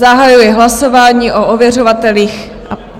Zahajuji hlasování o ověřovatelích.